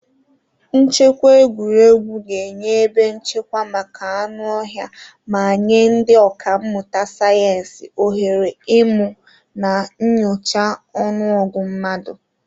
Nchekwa egwuregwu ga-enye ebe nchekwa maka anụ ọhịa ma nye ndị ọkà mmụta sayensị ohere ịmụ na nyochaa ọnụọgụ mmadụ.